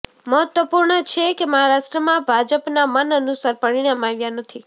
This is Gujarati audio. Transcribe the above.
મહત્વપૂર્ણ છે કે મહારાષ્ટ્રમાં ભાજપના મન અનુસાર પરિણામ આવ્યા નથી